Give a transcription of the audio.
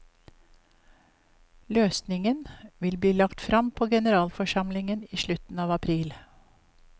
Løsningen vil bli lagt frem på generalforsamlingen i slutten av april.